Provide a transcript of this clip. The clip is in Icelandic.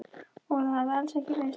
Að það hafi alls ekki verið slys.